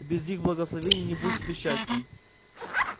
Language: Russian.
без их благословения не будет тебе счастья